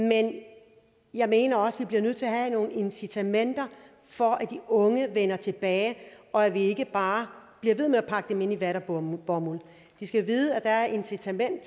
jeg mener også at vi bliver nødt til at have nogle incitamenter for at de unge vender tilbage og at vi ikke bare bliver ved med at pakke dem ind i vat og bomuld bomuld de skal vide at der er et incitament